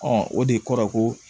o de kɔrɔ ko